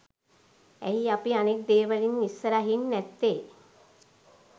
ඇයි අපි අනෙක් දේවලින් ඉස්සරහින් නැත්තෙ?